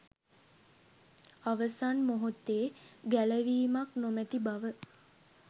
අවසන් මොහොතේ ගැලවීමක් නොමති බව